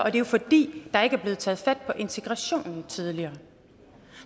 er jo fordi der ikke er blevet taget fat på integrationen tidligere